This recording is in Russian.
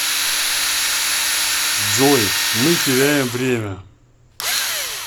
джой мы теряем время